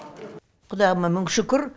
құдайыма мың шүкір